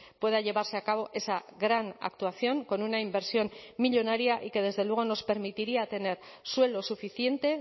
pueda llevarse a cabo esa gran actuación con una inversión millónaria y que desde luego nos permitiría tener suelo suficiente